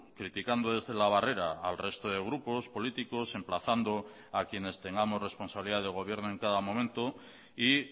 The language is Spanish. criticando desde la barrera al resto de grupos políticos emplazando a quienes tengamos responsabilidad de gobierno en cada momento y